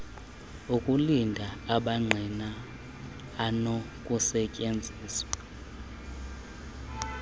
okulinda amangqina anokusetyenziswa